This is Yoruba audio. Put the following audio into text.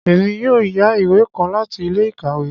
Èmí yóò yá ìwé kàn láti ilé-ìkawe